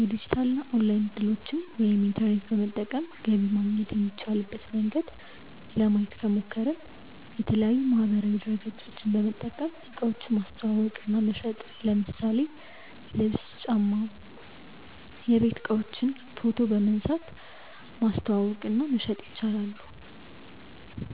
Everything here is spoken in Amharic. የዲጂታል እና ኦንላይን እድሎችን( ኢንተርኔት በመጠቀም ገቢ ማግኘት የሚቻልበት መንገድ) ለማየት ከሞከርን፦ የተለያዪ ማህበራዊ ድረገፆችን በመጠቀም እቃዎችን ማስተዋወቅ እና መሸጥ ለምሳሌ ልብስ፣ ጫማ፣ የቤት እቃዎችን ፎቶ በመንሳት ማስተዋወቅ እና መሸጥ ይጠቀሳሉ።